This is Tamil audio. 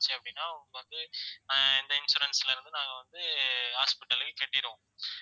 அப்படின்னா வந்து ஆஹ் இந்த insurance ல இருந்து நாங்க வந்து hospital க்கு கட்டிருவோம்